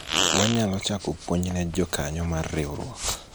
wanyalo chako puonj ne jokanyo mar riwruok